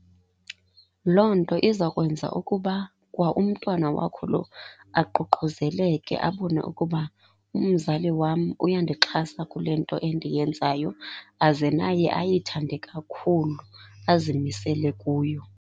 Loo nto iza kwenza ukuba kwa umntwana wakho lo aququzeleke abone ukuba umzali wam uyandixhasa kule nto endiyenzayo aze naye ayithande kakhulu, azimisele kuyo.